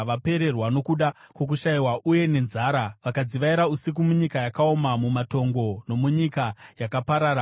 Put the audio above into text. Vapererwa nokuda kwokushayiwa uye nenzara, vakadzivaira usiku munyika yakaoma, mumatongo nomunyika yakaparara.